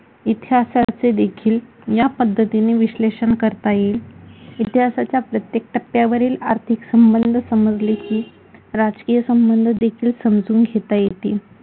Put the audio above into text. इतिहासाचे देखील या पद्धतीने विश्लेषण करता येईल, इतिहासाच्या प्रत्येक टप्प्यावरील आर्थिक संबंध समजले की राजकीय संबंध देखील समजून घेता येतील.